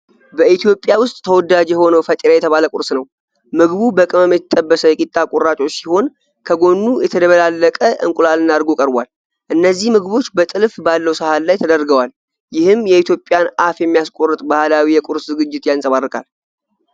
በኢትዮጵያ ውስጥ ተወዳጅ የሆነውን "ፈጢራ" የተባለ ቁርስ ነው። ምግቡ በቅመም የተጠበሰ የቂጣ ቁራጮች ሲሆን፣ ከጎኑ የተደበላለቀ እንቁላልና እርጎ ቀርቧል። እነዚህ ምግቦች በጥልፍ ባለው ሳህን ላይ ተደርገዋል። ይህም የኢትዮጵያን አፍ የሚያስቆርጥ ባህላዊ የቁርስ ዝግጅት ያንፀባርቃል።